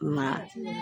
Nka